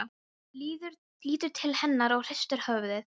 Lítur til hennar og hristir höfuðið.